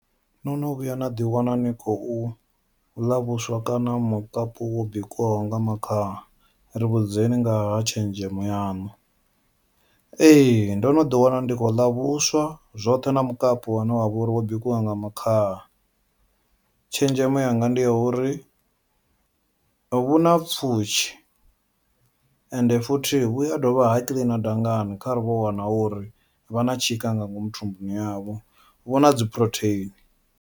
No no vhuya naḓi wana ni khou ḽa vhuswa kana mukapu wo bikiwaho nga makhaha ri vhudzeni ngaha tshenzhemo yaṋu, ee ndo no ḓi wana ndi khou ḽa vhuswa zwoṱhe na mukapu wane wavho uri wo bikiwaho nga makhaha, tshenzhemo yanga ndi ya uri vhuna pfhushi ende futhi vhu a dovha ha kiḽina dangani kharali vho wana uri vha na tshika nga ngomu thumbuni yavho vhuna dzi phurotheini.